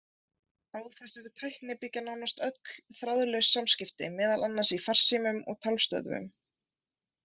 Á þessari tækni byggja nánast öll þráðlaus samskipti, meðal annars í farsímum og talstöðvum.